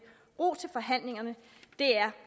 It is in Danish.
ro til forhandlingerne det er